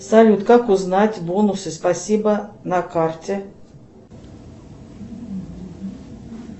салют как узнать бонусы спасибо на карте